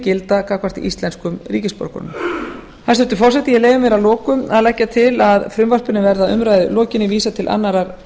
gilda gagnvart íslenskum ríkisborgurum hæstvirtur forseti ég leyfi mér að lokum að leggja til að frumvarpinu verði að umræðu lokinni vísað til annarrar